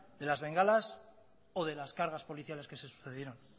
de las bengalas o de las cargas policiales que se sucedieron